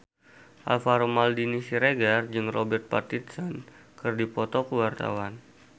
Alvaro Maldini Siregar jeung Robert Pattinson keur dipoto ku wartawan